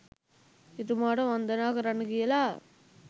එතුමාට වන්දනා කරන්න කියලා